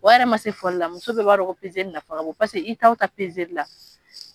O yɛrɛ ma se fɔlila muso bɛ b'a don ko nafa ka bon paseke i taa o taa la.